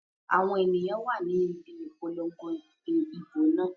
Àwọn èyàn wà ni ibi Ìpolongo ìbò náà.